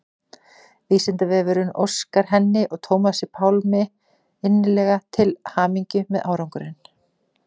Vísindavefurinn óskar henni og Tómasi Pálmi innilega til hamingju með árangurinn.